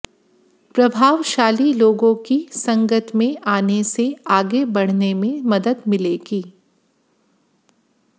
प्रभावशाली लोगों की संगत में आने से आगे बढ़ने में मदद मिलेगी